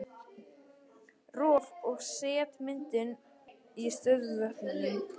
Rof og setmyndun í stöðuvötnum